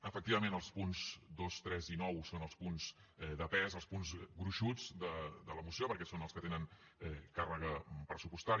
efectivament els punts dos tres i nou són els punts de pes els punts gruixuts de la moció perquè són els que tenen càrrega pressupostària